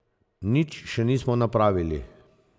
Nič še nismo napravili.